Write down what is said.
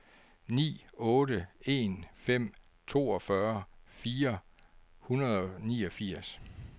ni otte en fem toogfyrre fire hundrede og niogfirs